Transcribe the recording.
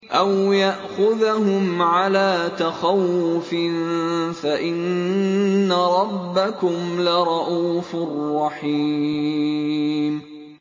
أَوْ يَأْخُذَهُمْ عَلَىٰ تَخَوُّفٍ فَإِنَّ رَبَّكُمْ لَرَءُوفٌ رَّحِيمٌ